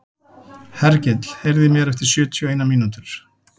Hergill, heyrðu í mér eftir sjötíu og eina mínútur.